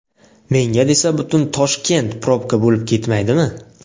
Menga desa butun Toshkent probka bo‘lib ketmaydimi!